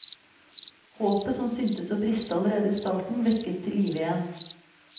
Håpet som syntes å briste allerede i starten, vekkes til livet igjen.